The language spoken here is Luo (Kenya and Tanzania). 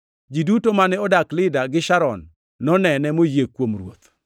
Ji duto mane odak Lida gi Sharon nonene moyie kuom Ruoth.